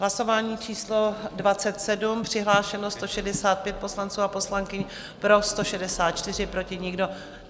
Hlasování číslo 27, přihlášeno 165 poslanců a poslankyň, pro 164, proti nikdo.